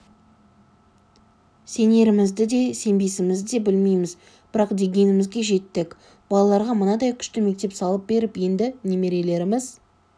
сенерімізді де сенбесімізді де білмейміз бірақ дегенімізге жеттік балаларға мынадай күшті мектеп салып беріп енді немерелеріміз